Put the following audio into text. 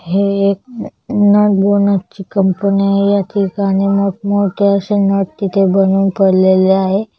हे एक nut bonnet ची कंपनी आहे या ठिकाणी मोठ मोठे अशे नट तिथे बनवून पडलेले आहे.